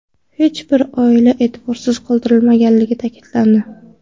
Hech bir oila e’tiborsiz qoldirilmagani ta’kidlandi.